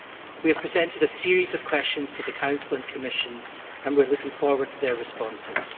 We have presented a series of questions to the Council and Commission and we are looking forward to their responses.